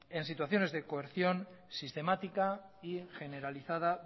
en situación de coerción sistemática y generalizada